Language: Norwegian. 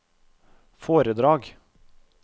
foredrag